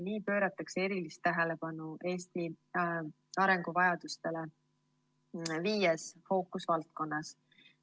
Nii pööratakse erilist tähelepanu Eesti arenguvajadustele viies fookusvaldkonnas.